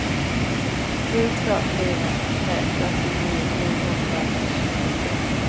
sju två fyra tre fyrtionio niohundratjugosex